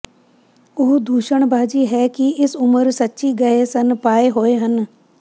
ਉਹ ਦੂਸ਼ਣਬਾਜ਼ੀ ਹੈ ਕਿ ਇਸ ਉਮਰ ਸੱਚੀ ਗਏ ਸਨ ਪਾਏ ਹੋਏ ਹਨ